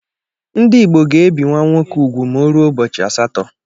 Ndị Igbo ga-ebi nwa nwoke úgwù ma o ruo ụbọchị asatọ.